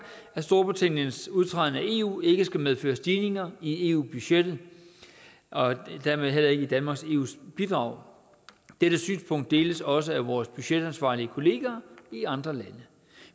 at storbritanniens udtræden af eu ikke skal medføre stigninger i eu budgettet og dermed heller ikke i danmarks eu bidrag dette synspunkt deles også af vores budgetansvarlige kollegaer i andre lande